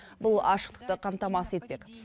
бұл ашықтықты қамтамасыз етпек